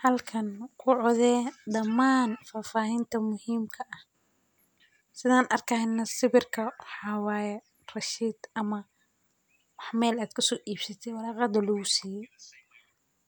Halkaan ku codsade dhammaan faafahinta muhiimka ah sidaan arkayna sawirka haawaaya, receipt ama wax meel aad ka suu ibsitaa waraqaad oo luusiyo